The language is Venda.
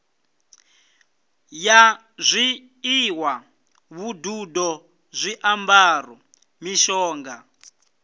ya zwiḽiwa vhududo zwiambaro mishonga